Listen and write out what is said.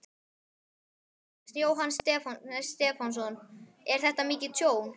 Jóhannes Stefánsson: Er þetta mikið tjón?